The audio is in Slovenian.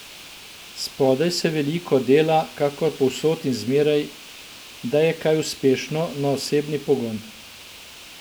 Spodaj se veliko dela, kakor povsod in zmeraj, da je kaj uspešno, na osebni pogon.